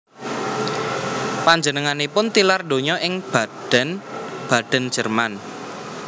Panjenenganipun tilar donya ing Baden Baden Jerman